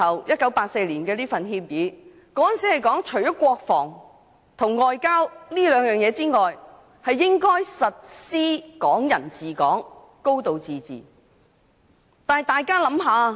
1984年的《中英聯合聲明》提到除國防和外交事務外，其餘事務均屬於"港人治港"、"高度自治"的範圍。